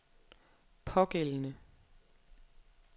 pågældende